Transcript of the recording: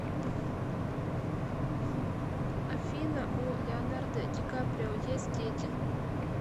афина у леонардо ди каприо есть дети